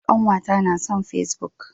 Ƙanwata ta nason face-book.